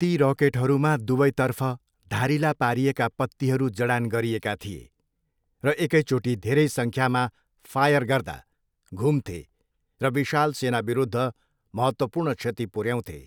ती रकेटहरूमा दुवैतर्फ धारिला पारिएका पत्तीहरू जडान गरिएका थिए, र एकैचोटि धेरै सङ्ख्यामा फायर गर्दा, घुम्थे र विशाल सेनाविरूद्ध महत्त्वपूर्ण क्षति पुर्याउँथे।